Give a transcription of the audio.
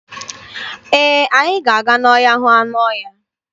Ee, anyị ga-aga n'ọhịa hụ anụ ọhịa.